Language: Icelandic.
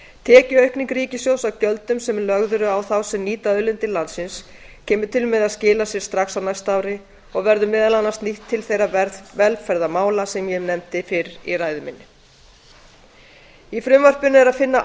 tekjuaukning ríkissjóðs af gjöldum sem lögð eru á þá sem nýta auðlindir landsins kemur til með að skila sér strax á næsta ári og verður meðal annars nýtt til þeirra velferðarmála sem ég nefndi fyrr í ræðu minni í frumvarpinu er að finna